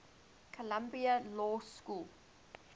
columbia law school